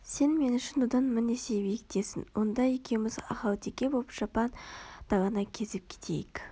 сен мен үшін одан мың есе биіктесің онда екеуміз ахалтеке боп жапан даланы кезіп кетейік